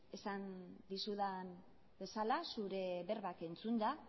esan dizudan bezala zure berbak entzunda